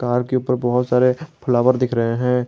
Car के ऊपर बहोत सारे फ्लावर दिख रहे हैं।